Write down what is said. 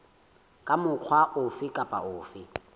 ka mokgwa ofe kapa ofe